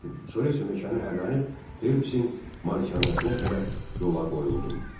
Sonra isə meşəni hərrlənib Felipsin malikanəsinə tərəf yola qoyuldum.